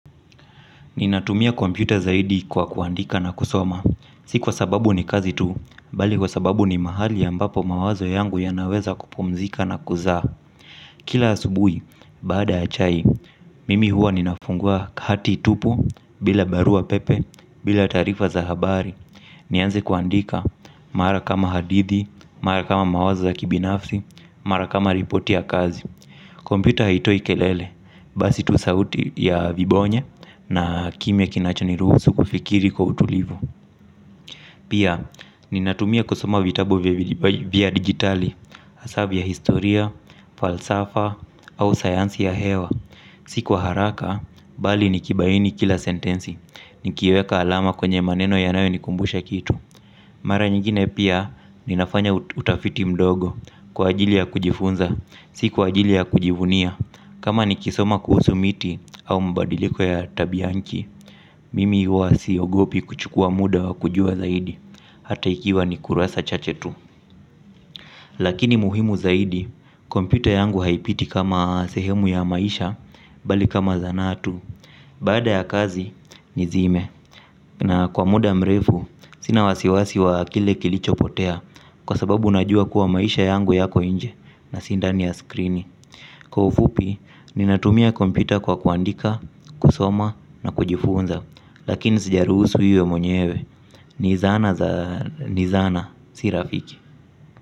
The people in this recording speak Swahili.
Ninatumia kompyta zaidi kwa kuandika na kusoma. Si kwa sababu ni kazi tu, bali kwa sababu ni mahali ambapo mawazo yangu yanaweza kupumzika na kuzaa. Kila asubuhi baada ya chai, mimi huwa ninafungua hati tupu, bila barua pepe, bila taarifa za habari. Nianze kuandika mara kama hadithi, mara kama mawazo ya kibinafsi, mara kama repoti ya kazi kompyta haitoi kelele basi tu sauti ya vibonye na kimya kinacho ni ruhusu kufikiri kwa utulivu. Pia, ninatumia kusoma vitabu vya digitali, hasaa vya historia, falsafa au sayansi ya hewa. Si kwa haraka, bali nikibaini kila sentensi, nikiweka alama kwenye maneno yanayo nikumbusha kitu. Mara nyingine pia, ninafanya utafiti mdogo, kwa ajili ya kujifunza, si kwa ajili ya kujivunia. Kama nikisoma kuhusu miti au mbadiliko ya tabianchi, mimi huwa siogopi kuchukuwa muda wa kujua zaidi, hata ikiwa ni kurasa chache tu. Lakini muhimu zaidi, kompyta yangu haipiti kama sehemu ya maisha, bali kama zanaa tu. Baada ya kazi, nizime. Na kwa muda mrefu, sina wasiwasi wa kile kilichopotea, kwa sababu najua kuwa maisha yangu yako nje na si ndani ya skrini. Kwa ufupi, ninatumia kompyta kwa kuandika, kusoma na kujifunza. Lakini sijaruhusu iwe mwenyewe ni zana, ni zana, si rafiki.